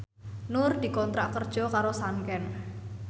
Nur dikontrak kerja karo Sanken